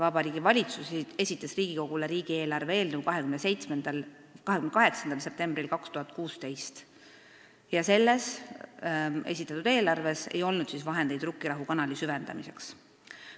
Vabariigi Valitsus esitas Riigikogule riigieelarve eelnõu 28. septembril 2016 ja selles ei olnud ette nähtud vahendeid Rukkirahu kanali süvendamiseks.